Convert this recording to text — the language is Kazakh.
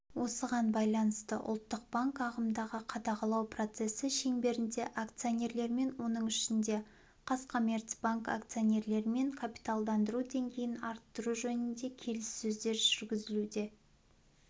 осыған байланысты ұлттық банк ағымдағы қадағалау процесі шеңберінде акционерлермен оның ішінде қазкоммерцбанк акционерлерімен капиталдандыру деңгейін арттыру жөнінде келіссөздер жүргізуде